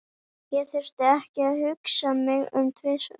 Ég þurfti ekki að hugsa mig um tvisvar.